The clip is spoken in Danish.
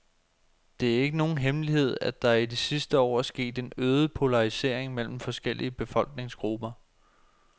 Det er ikke nogen hemmelighed, at der i de sidste år er sket en øget polarisering mellem forskellige befolkningsgrupper.